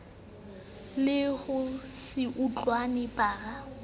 le ho se utlwane bara